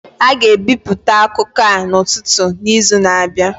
A ga-ebipụta akụkọ a n'ụtụtụ n'izu na-abịa.